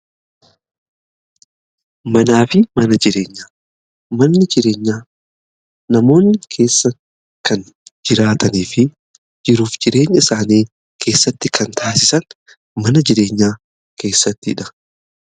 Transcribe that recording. Manaa fi mana jireenya manni jireenyaa namoonni keessa kan jiraatanii fi jiruuf jireenya isaanii keessatti kan taasisan mana jireenyaa keessattidha.